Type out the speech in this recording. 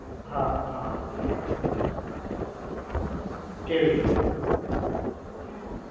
હા હા હા કેવી